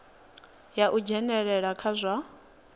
ya u dzhenelela kha zwa